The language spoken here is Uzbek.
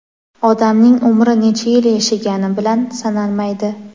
odamning umri necha yil yashagani bilan sanalmaydi.